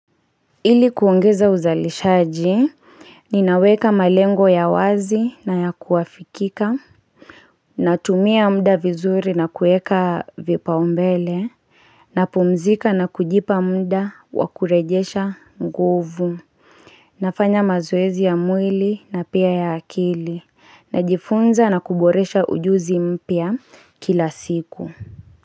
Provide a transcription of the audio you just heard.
Ili kuongeza uzalishaji Ninaweka malengo ya wazi na ya kuafikika Natumia mda vizuri na kueka vipa umbele napumzika na kujipa mda wakurejesha nguvu Nafanya mazwezi ya mwili na pia ya akili Najifunza na kuboresha ujuzi mpya kila siku.